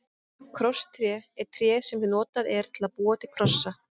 Krosstré er tré sem notað er til að búa til krossa.